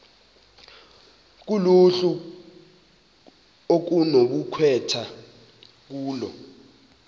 kuluhlu okunokukhethwa kulo